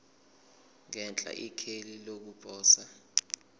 ngenhla ikheli lokuposa